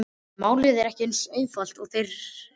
En málið er ekki eins einfalt, og þér haldið.